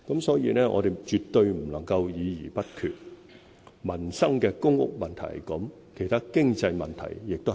所以，我們絕對不能夠議而不決，關乎民生的公屋問題是這樣，其他經濟問題亦是這樣。